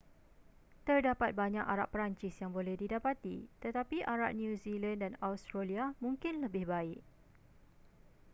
terdapat banyak arak perancis yang boleh didapati tetapi arak new zealand dan australia mungkin lebih baik